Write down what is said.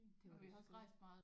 Det var da også skønt